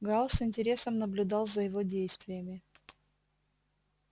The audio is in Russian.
гаал с интересом наблюдал за его действиями